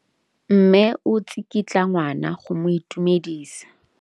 Mme o tsikitla ngwana go mo itumedisa.